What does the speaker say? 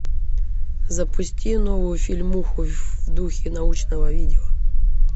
запусти новую фильмуху в духе научного видео